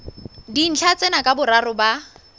dintlha tsena ka boraro ba